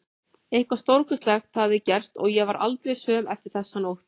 Eitthvað stórkostlegt hafði gerst og ég varð aldrei söm eftir þessa nótt.